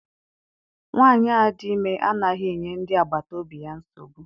Nwaanyi a dị ime anaghị enye ndị agbata obi ya nsogbu.